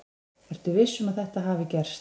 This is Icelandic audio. Ertu viss um að þetta hafi gerst?